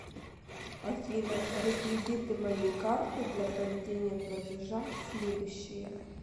афина реквизиты моей карты для проведения платежа следующие